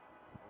Allah!